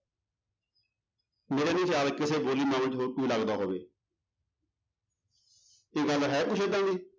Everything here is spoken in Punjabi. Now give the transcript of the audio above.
ਮੇਰਾ ਨੀ ਖਿਆਲ ਕਿਸੇ ਬੋਲੀ ਹੋਰ ਕੋਈ ਲੱਗਦਾ ਹੋਵੇ ਇਹ ਗੱਲ ਹੈ ਕੁਛ ਏਦਾਂ ਦੀ